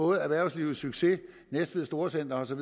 erhvervslivets succes næstved storcenters og